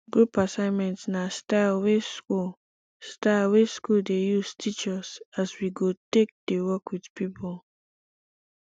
group assignment na style wey school style wey school dey use teach us as we go take dey work with people